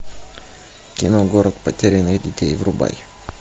кино город потерянных детей врубай